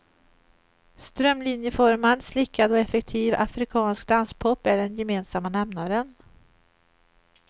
Strömlinjeformad, slickad och effektiv afrikansk danspop är den gemensamma nämnaren.